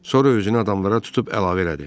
Sonra özünü adamlara tutub əlavə elədi.